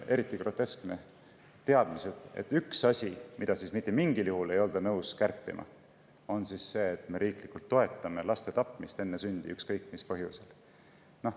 Eriti groteskne,, üks asi, mida ei olda mitte mingil juhul nõus kärpima, on see, et me riiklikult toetame laste tapmist enne sündi ükskõik mis põhjusel.